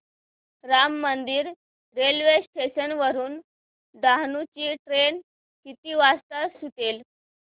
Ram Mandir railway station वरुन डहाणू ची train किती वाजता सुटेल